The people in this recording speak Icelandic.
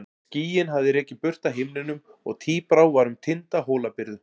Skýin hafði rekið burt af himninum og tíbrá var um tinda Hólabyrðu.